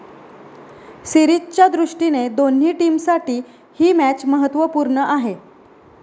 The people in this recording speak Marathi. सीरिजच्या दृष्टीने दोन्ही टीमसाठी ही मॅच महत्वपूर्ण आहे.